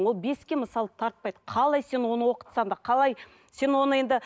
ол беске мысалы тартпайды қалай сен оны оқытсаң да қалай сен оны енді